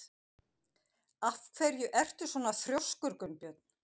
Af hverju ertu svona þrjóskur, Gunnbjörn?